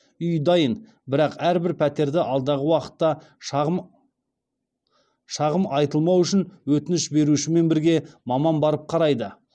үй дайын бірақ әрбір пәтерді алдағы уақытта шағым айтылмау үшін өтініш берушімен бірге маман барып қарайды